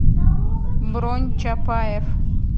бронь чапаев